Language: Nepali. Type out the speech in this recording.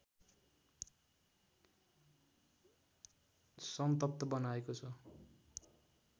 सन्तप्त बनाएको छ